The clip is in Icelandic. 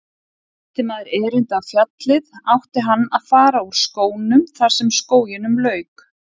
Ætti maður erindi á fjallið átti hann að fara úr skónum þar sem skóginum lauk.